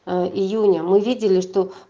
а июня мы видели что